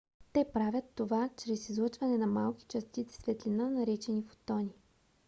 те правят това чрез излъчване на малки частици светлина наречени фотони